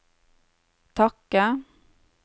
takke